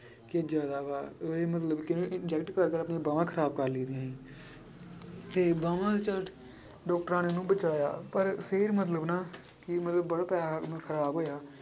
ਕਿ ਜ਼ਿਆਦਾ ਵਾ ਉਹਨੇ ਮਤਲਬ ਕਿ inject ਕਰ ਕਰ ਆਪਣੀਆਂ ਬਾਵਾਂ ਖ਼ਰਾਬ ਕਰ ਲਈਆਂ ਸੀ ਤੇ ਬਾਵਾਂ ਜਦ ਡਾਕਟਰਾਂ ਨੇ ਉਹਨੂੰ ਬਚਾਇਆ ਪਰ ਫਿਰ ਮਤਲਬ ਨਾ ਕਿ ਮਤਲਬ ਵਾਲਾ ਪੈਸਾ ਖ਼ਰਾਬ ਹੋਇਆ।